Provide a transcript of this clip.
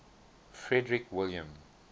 frederick william